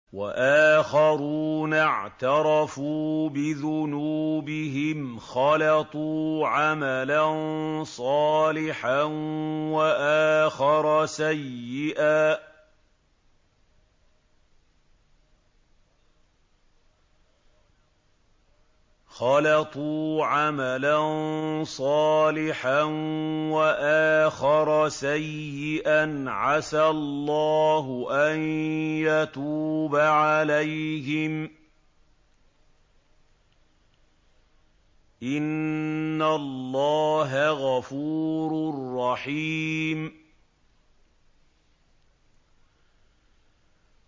وَآخَرُونَ اعْتَرَفُوا بِذُنُوبِهِمْ خَلَطُوا عَمَلًا صَالِحًا وَآخَرَ سَيِّئًا عَسَى اللَّهُ أَن يَتُوبَ عَلَيْهِمْ ۚ إِنَّ اللَّهَ غَفُورٌ رَّحِيمٌ